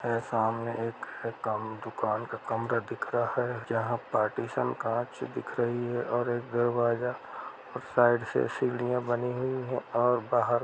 और सामने एक एक दुकान का कमरा दिख रहा है जहाँ पार्टीशन कांच दिख रही है और एक दरवाजा साइड से सीढ़ियाँ बनी हुई है और बाहर --